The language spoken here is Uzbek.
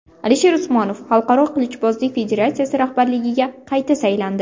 Alisher Usmonov Xalqaro qilichbozlik federatsiyasi rahbarligiga qayta saylandi.